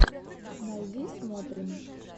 найди смотрим